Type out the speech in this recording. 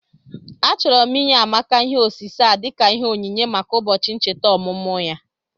Achọrọ m inye Amaka ihe osise a dika ìhè ònyìnyé maka ụbọchị nchèta ọmụmụ ya